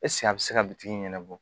a bɛ se ka bitigi ɲɛnabɔ